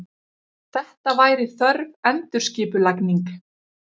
Þetta væri þörf endurskipulagning.